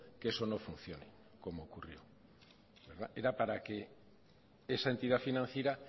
que eso no funcione como ocurrió era para que esa entidad financiera